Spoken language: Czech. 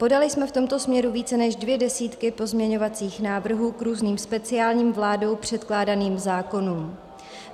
Podali jsme v tomto směru více než dvě desítky pozměňovacích návrhů k různým speciálním vládou předkládaným zákonům.